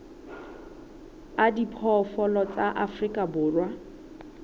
a diphoofolo tsa afrika borwa